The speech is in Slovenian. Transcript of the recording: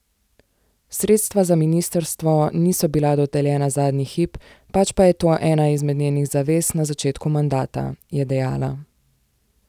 Sredstva za ministrstvo niso bila dodeljena zadnji hip, pač pa je to ena izmed njenih zavez na začetku mandata, je dejala.